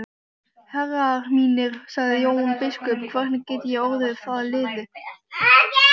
Herrar mínir, sagði Jón biskup,-hvernig get ég orðið að liði?